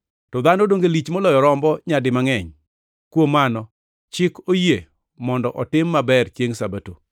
To dhano donge lich moloyo rombo nyadi mangʼeny! Kuom mano, chik oyie mondo otim maber chiengʼ Sabato.”